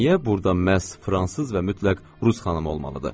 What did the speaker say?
Niyə burada məhz fransız və mütləq rus xanımı olmalıdır?